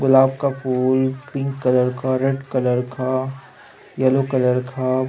गुलाब का फूल pink colour का रेड कलर का येलो कलर का--